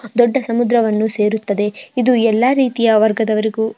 ದೊಡ್ಡ ಸಮುದ್ರವನ್ನು ಸೇರುತ್ತದೆ. ಇದು ಎಲ್ಲಾ ರೀತಿಯ ವರ್ಗದವರಿಗೂ --